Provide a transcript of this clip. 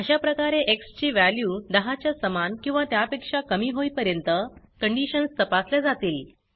अशा प्रकारे एक्स ची वॅल्यू 10 च्या समान किंवा त्या पेक्षा कमी होईपर्यंत कंडीशन्स तपासल्या जातील